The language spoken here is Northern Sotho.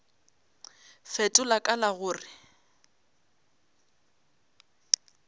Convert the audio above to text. fetola ka la go re